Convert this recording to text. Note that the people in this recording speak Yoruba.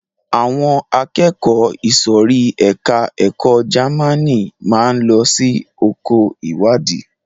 Àwọn akẹ́kọ̀ọ́ ìsòrí ẹka ẹ̀kọ́ Jamaní máa lọ sí oko ìwádìí.